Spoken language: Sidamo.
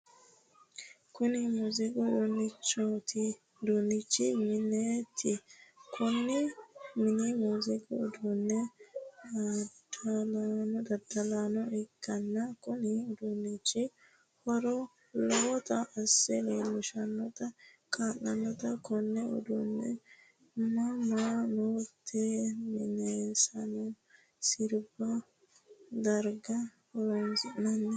Kunni muuziiqu uduunni mineeti. Konne mine muuziiqu uduunne dadalanniha ikanna kunni uduunichi huuro lowota ase leelishate kaa'lano. Konne uduune ama'note minenna sirbu darga horoonsi'nanni.